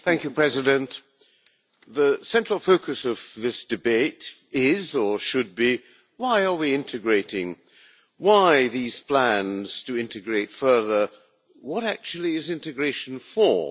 Mr President, the central focus of this debate is, or should be why are we integrating, why these plans to integrate further, what actually is integration for?